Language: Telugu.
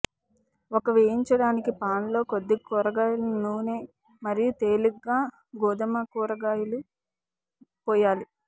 ఒక వేయించడానికి పాన్ లో కొద్దిగా కూరగాయల నూనె మరియు తేలికగా గోధుమ కూరగాయలు పోయాలి